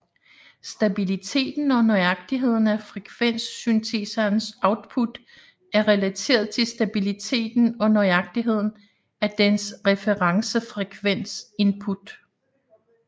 Stabiliteten og nøjagtigheden af frekvenssynteserens output er relateret til stabiliteten og nøjagtigheden af dens referencefrekvens input